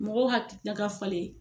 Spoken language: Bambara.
Mɔgɔw hakili nan ka falen.